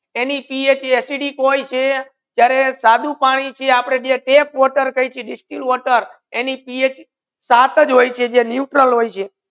અને પીએચ કા એસિડિક હોય છે ત્યારે સાધુ પાણી છે આપડુ tap wate કહીયે કે distilled water તેની પીએચ સાત હોય છે